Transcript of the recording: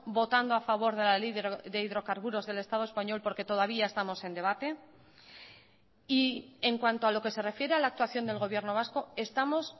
votando a favor de la ley de hidrocarburos del estado español porque todavía estamos en debate y en cuanto a lo que se refiere a la actuación del gobierno vasco estamos